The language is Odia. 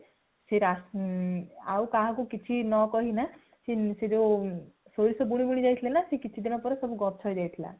ସେ ଆଉ କାହାକୁ କିଛି ନ କହି କିନା ସେ ଯଉ ସୋରିଷ ବୁଣି ବୁଣି ଯାଇଥିଲେ ନା ସେ ସବୁ କିଛି ଦିନ ପରେ ସବୁ ଗଛ ହେଇ ଯାଇଥିଲା